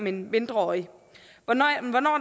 en mindreårig hvornår